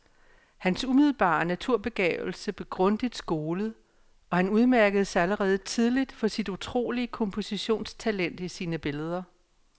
Hans umiddelbare naturbegavelse blev grundigt skolet, og han udmærkede sig allerede tidligt for sit utrolige kompositionstalent i sine billeder.